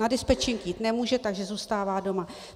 Na dispečink jít nemůže, takže zůstává doma.